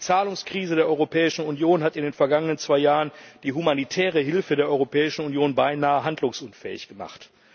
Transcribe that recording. Die Zahlungskrise der Europäischen Union hat in den vergangenen zwei Jahren die humanitäre Hilfe der Europäischen Union beinahe handlungsunfähig gemacht.